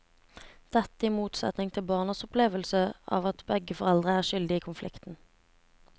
Dette i motsetning til barnas opplevelse av at begge foreldrene er skyldige i konflikten.